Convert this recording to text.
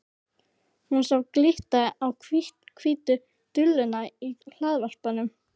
Hún sá glitta á hvítu duluna í hlaðvarpanum.